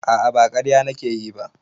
A'a ba ƙarya nake yi ba